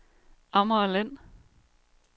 Amagerland